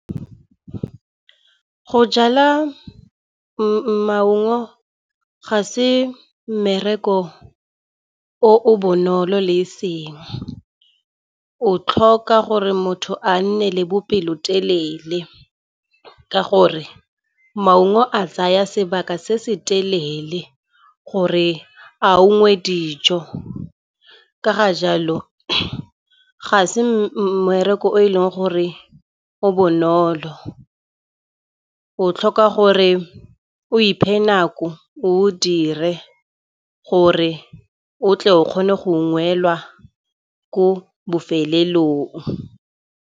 Go jala maungo ga se mmereko o bonolo le eseng. O tlhoka gore motho a nne le bopelotelele. Ka gore maungo a tsaya sebaka se se telele gore a unngwe dijo. Ka ga jalo, ga se mmereko o eleng gore o bonolo. O tlhoka gore o iphe nako o dire gore o tle o kgone go ko bofelelong.